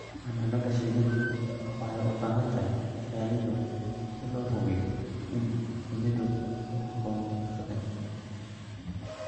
Xannaanada shinnidu waxay u baahan tahay ilaalin dhow si loo hubiyo in shinnidu si habboon u shaqeyso.